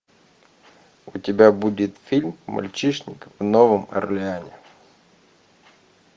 у тебя будет фильм мальчишник в новом орлеане